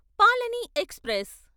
Palani express